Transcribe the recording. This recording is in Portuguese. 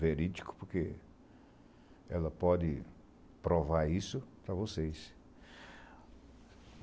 verídico, porque ela pode provar isso para vocês.